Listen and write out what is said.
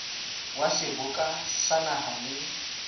wa seboka sa naha le